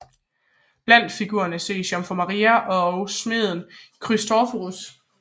Blandt figurerne ses jomfru Maria og smeden Christoforus